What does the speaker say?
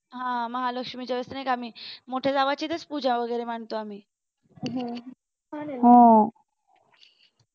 हा महालक्ष्मीच्या वेळेस नाही का आम्ही मोठ्या जावेच्या इथेच पूजा वगैरे मांडतो आम्ही हा